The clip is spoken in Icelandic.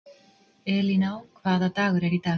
Elíná, hvaða dagur er í dag?